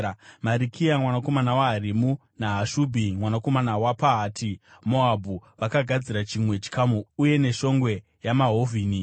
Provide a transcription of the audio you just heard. Marikiya mwanakomana waHarimu naHashubhi mwanakomana waPahati-Moabhu vakagadzira chimwe chikamu uye neShongwe yeMahovhoni.